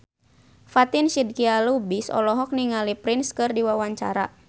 Fatin Shidqia Lubis olohok ningali Prince keur diwawancara